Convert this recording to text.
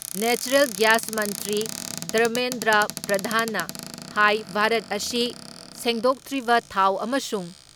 natural gas ꯃꯟꯇ꯭ꯔꯤ ꯗꯔꯃꯦꯟꯗ꯭ꯔ ꯄ꯭ꯔꯙꯥꯟꯅ ꯍꯥꯏ ꯚꯥꯔꯠ ꯑꯁꯤ ꯁꯦꯡꯗꯣꯛꯇ꯭ꯔꯤꯕ ꯊꯥꯎ ꯑꯃꯁꯨꯡ